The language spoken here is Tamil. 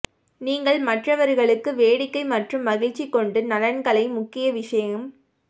நீங்கள் மற்றவர்களுக்கு வேடிக்கை மற்றும் மகிழ்ச்சி கொண்டு நலன்களை முக்கிய விஷயம்